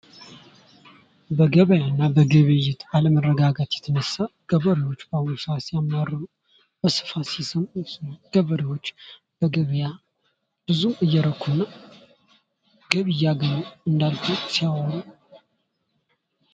ንግድ ትርፍ ለማግኘት ሲባል የሚደረግ የእቃዎችና የአገልግሎቶች ልውውጥ ሲሆን ግብይት ደግሞ ገዥዎችንና ሻጮችን የሚያገናኝ ሂደት ነው።